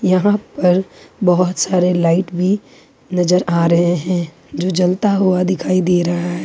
यहां पर बहोत सारे लाइट भी नजर आ रहे हैं जो जलता हुआ दिखाई दे रहा है।